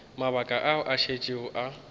mabaka ao a šetšego a